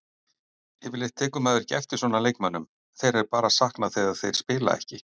Yfirleitt tekur maður ekki eftir svona leikmönnum, þeirra er bara saknað þegar þeir spila ekki.